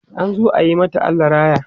an zo ayi mata Allah raya